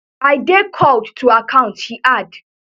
i dey called to account she add